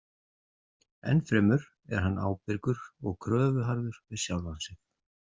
Ennfremur er hann ábyrgur og kröfuharður við sjálfan sig.